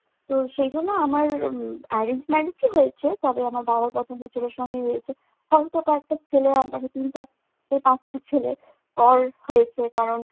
তো সেজন্য আমার arrange marriage ই হয়েছে তবে আমার বাবার পছন্দের ছেলের সঙ্গেই হয়েছে। হয়তোবা একটা ছেলে ইনফেক্ট চার=পাঁচটা ছেলে করেছে কারণ